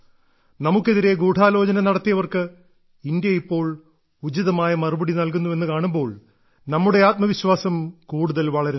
നമുക്കെതിരെ ഗൂഢാലോചന നടത്തിയവർക്ക് ഇന്ത്യ ഇപ്പോൾ ഉചിതമായ മറുപടി നൽകുന്നുവെന്ന് കാണുമ്പോൾ നമ്മുടെ ആത്മവിശ്വാസം കൂടുതൽ വളരുന്നു